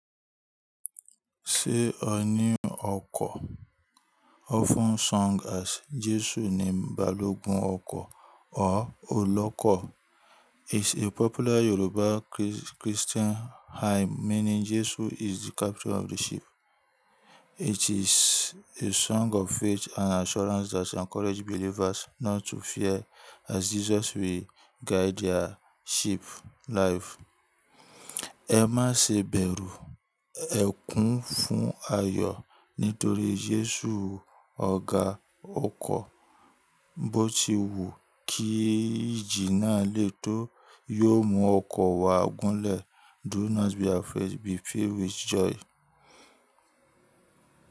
Ṣé ọ ní ọkọ̀? Often sung as Jesu ni balogun ọkọ̀ or Olọ́kọ̀, is a popular Yoruba Chris-Christian hymn meaning Jesu is the captain of the ship. It is a song of faith and assurance that encourage believers not to fear, as Jesus will guide their ship, life. Ẹ maá ṣe bẹ̀rù, ẹ kún fún ayọ̀ nítorí Jesu ọ̀gá ọkọ̀, bó ti wu kí ìjì náà létó, yó mú ọkọ̀ wa gúnlè. Do not be afraid, be filled with joy.